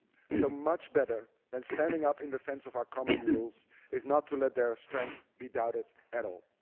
So, much better than standing up in defence of our common rules is not to let their strength be doubted at all.